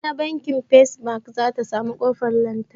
Bana banki first bank zata samu kofar lantarki